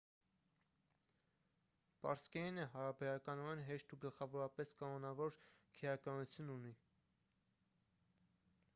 պարսկերենը հարաբերականորեն հեշտ ու գլխավորապես կանոնավոր քերականություն ունի